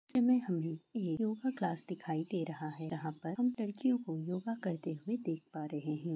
यहां पर हामॆ एक योगा क्लास दिखाई दे रहा है यहां पर लड़कियों को योग करते हुए देख पा रहे हैं।